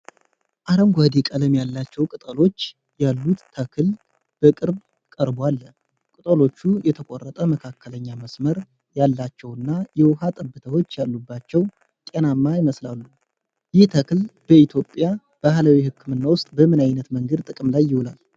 ረዥምና ትልልቅ እንዲሁም ደማቅ አረንጓዴ ቀለም ያላቸው ቅጠሎች ያሉት ተክል በቅርብ ቀርቦ አለ። ቅጠሎቹ የተቆረጠ መካከለኛ መስመር ያላቸውና የውሃ ጠብታዎች ያሉባቸው ጤናማ ይመስላሉ። ይህ ተክል በኢትዮጵያ ባህላዊ ሕክምና ውስጥ በምን ዓይነት መንገድ ጥቅም ላይ ይውላል?